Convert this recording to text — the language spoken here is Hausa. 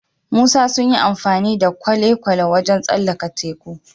Musa sunyi amfani da kwale kwale wajan tsallaka teku